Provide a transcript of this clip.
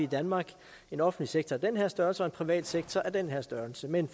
i danmark en offentlig sektor af den her størrelse og en privat sektor af den her størrelse men